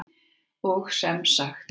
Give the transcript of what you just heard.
Og sem sagt!